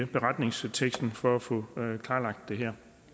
beretningsteksten for at få klarlagt det her